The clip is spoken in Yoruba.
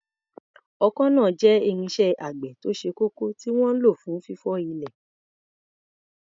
Ọkọ́ náà jẹ́ irinṣẹ́ àgbẹ̀ tó ṣe kókó tí wọ́n ń lò fún fífọ́ ilẹ̀.